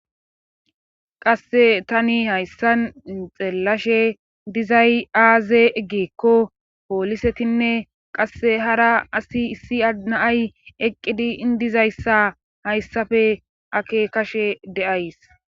qasse tani hayssan inxeellashe dizay aaze eggeekko poolisetinne qasse hara asi issi adnaay eqqidi indizayssa hayssafe ake kashe de7ays